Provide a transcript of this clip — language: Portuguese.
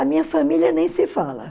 A minha família nem se fala.